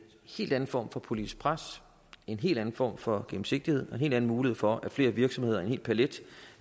helt anden form for politisk pres en helt anden form for gennemsigtighed og en hel anden mulighed for at flere virksomheder en hel palet